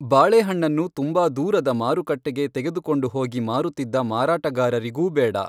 ಬಾಳೆಹಣ್ಣನ್ನು ತುಂಬಾ ದೂರದ ಮಾರುಕಟ್ಟೆಗೆ ತೆಗೆದುಕೊಂಡು ಹೋಗಿ ಮಾರುತ್ತಿದ್ದ ಮಾರಾಟಗಾರರಿಗೂ ಬೇಡ.